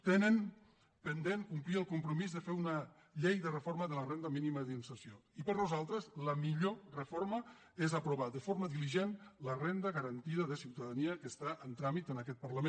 tenen pendent complir el compromís de fer una llei de reforma de la renda mínima d’inserció i per nosaltres la millor reforma és aprovar de forma diligent la renda garantida de ciutadania que està en tràmit en aquest parlament